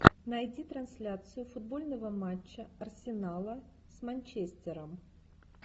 найди трансляцию футбольного матча арсенала с манчестером